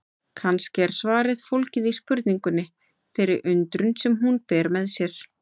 Kannski er svarið fólgið í spurningunni, þeirri undrun sem hún ber með sér.